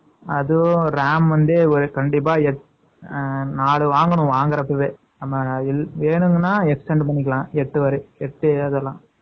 அதுவும், RAM வந்து, ஒரு கண்டிப்பா, அ, நாலு வாங்கணும், வாங்குறதுக்கு 19 . வேணும்னா, extend பண்ணிக்கலாம். எட்டு வரை, எட்டு எழுதலாம்